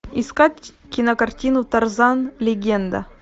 искать кинокартину тарзан легенда